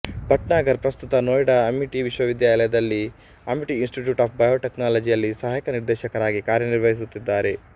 ಭಟ್ನಾಗರ್ ಪ್ರಸ್ತುತ ನೋಯ್ಡಾದ ಅಮಿಟಿ ವಿಶ್ವವಿದ್ಯಾಲಯದಲ್ಲಿ ಅಮಿಟಿಇನ್ಸ್ಟಿಟ್ಯೂಟ್ ಆಫ್ ಬಯೋಟೆಕ್ನಾಲಜಿನಲ್ಲಿ ಸಹಾಯಕ ನಿರ್ದೇಶಕರಾಗಿ ಕಾರ್ಯನಿರ್ವಹಿಸುತ್ತಿದ್ದಾರೆ